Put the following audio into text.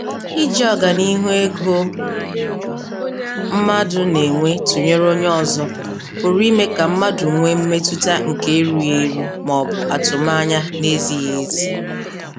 Iji ọganihu ego mmadụ na-enwe tụnyere onye ọzọ pụrụ ime ka mmadụ nwee mmetụta nke erughị eru ma ọ bụ atụmanya na-ezighị ezi.